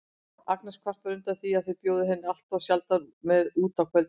Agnes kvartar undan því að þau bjóði henni alltof sjaldan með út á kvöldin.